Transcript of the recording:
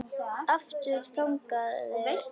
Aftur þagnaði konan.